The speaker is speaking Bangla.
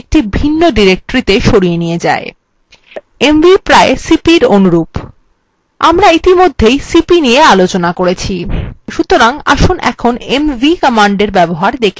mv প্রায় cp এর অনুরূপ আমরা ইতিমধ্যে cp নিয়ে আলোচনা করেছি সুতরাং আসুন কিভাবে mv কমান্ডের ব্যবহার দেখে নেওয়া যাক